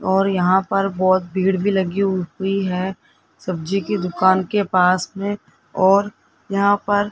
और यहां पर बहोत भीड़ भी लगी हुई है सब्जी की दुकान के पास में और यहां पर --